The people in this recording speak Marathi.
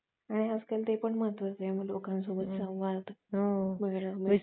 आणि आज करते पण महत्त्वाचा आहे लोका ंसोबत संवाद सगळ्यांनी सोबत